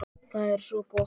Það er svo gott!